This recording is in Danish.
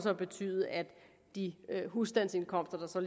at betyde at de husstandsindkomster